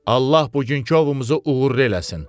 Allah bugünkü ovumuzu uğurlu eləsin.